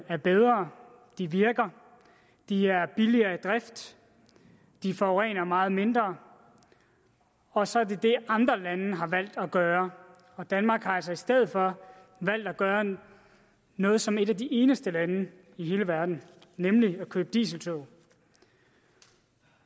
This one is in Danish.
er bedre de virker de er billigere i drift de forurener meget mindre og så er det det andre lande har valgt at gøre og danmark har altså i stedet for valgt at gøre noget som et af de eneste lande i hele verden nemlig at købe dieseltog